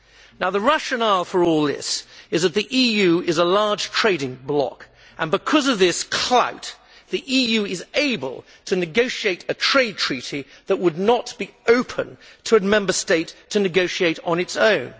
Now, the rationale for all this is that the EU is a large trading bloc and because of this clout, the EU is able to negotiate a trade treaty that would not be open to a Member State to negotiate on its own.